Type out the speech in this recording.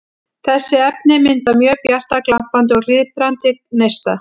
Þessi efni mynda mjög bjarta, glampandi og glitrandi neista.